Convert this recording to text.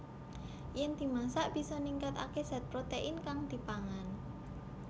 Yèn dimasak bisa ningkataké zat protèin kang dipangan